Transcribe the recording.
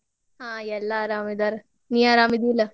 ಹಾ ಎಲ್ಲಾ ಆರಾಮಿದಾರ್, ನೀ ಆರಾಮಿದಿ ಇಲ್ಲ?